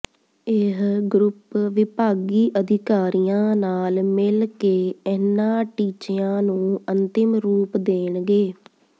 ਇਹ ਗਰੁੱਪ ਵਿਭਾਗੀ ਅਧਿਕਾਰੀਆਂ ਨਾਲ ਮਿਲਕੇ ਇਨ੍ਹਾਂ ਟੀਚਿਆਂ ਨੂੰ ਅੰਤਿਮ ਰੂਪ ਦੇਣਗੇ